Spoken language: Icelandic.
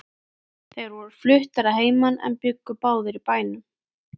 Þeir voru fluttir að heiman en bjuggu báðir í bænum.